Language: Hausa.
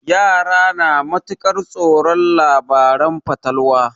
Yara na matuƙar tsoron labaren fatalwa.